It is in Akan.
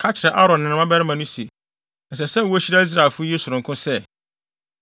“Ka kyerɛ Aaron ne ne mmabarima no se, ɛsɛ sɛ wohyira Israelfo yi sononko sɛ: